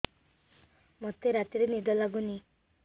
ମୋତେ ରାତିରେ ନିଦ ଲାଗୁନି